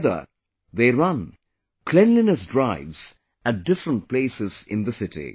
Together they run cleanliness drives at different places in the city